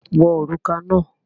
Wọ òrùka náà!